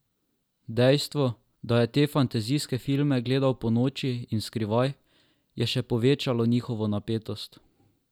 Dejstvo, da je te fantazijske filme gledal ponoči in skrivaj, je še povečevalo njihovo napetost.